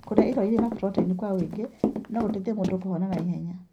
Kũrĩa irio irĩ na proteini kwa ũingĩ no gũteithie mũndũ kũhona na ihenya.